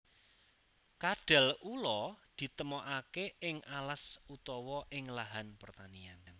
Kadal ula ditemokake ing alas utawa ing lahan pertanian